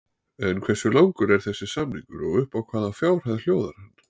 En hversu langur er þessi samningur og upp á hvaða fjárhæð hljóðar hann?